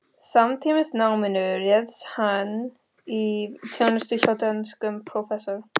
Samtímis náminu réðst hann í þjónustu hjá dönskum prófessor